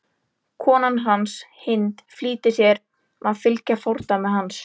Kona hans, Hind, flýtir sér að fylgja fordæmi hans.